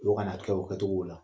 O ka na kɛ o kɛ togow la.